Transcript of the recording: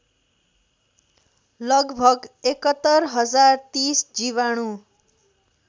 लगभग ५१०३० जीवाणु